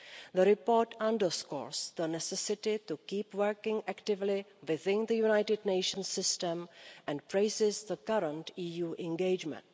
The report underscores the necessity to keep working actively within the United Nations system and praises the current EU engagement.